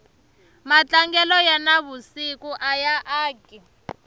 matlangelo ya na vusiku aya aki